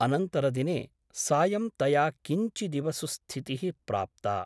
अनन्तरदिने सायं तया किञ्चिदिव सुस्थितिः प्राप्ता ।